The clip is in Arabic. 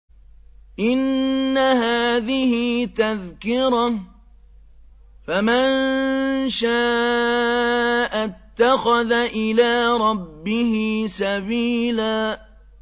إِنَّ هَٰذِهِ تَذْكِرَةٌ ۖ فَمَن شَاءَ اتَّخَذَ إِلَىٰ رَبِّهِ سَبِيلًا